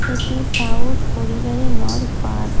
এটি সাউথ খড়িবাড়ি নর পার্ক ।